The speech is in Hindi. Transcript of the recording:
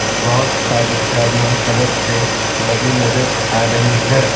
बहुत सारी गाड़ियां सड़क पे लगी नजर आ रही है।